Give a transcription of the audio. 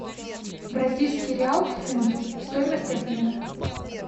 бразильский реал к фунту стоимость обмена